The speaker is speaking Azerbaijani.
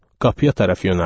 Qapıya tərəf yönəldi.